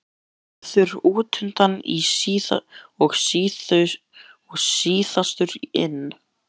Hann verður útundan og síðastur inn.